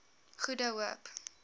goede hoop